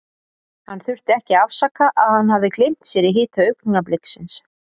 Hann þurfti ekki að afsaka að hann hafði gleymt sér í hita augnabliksins.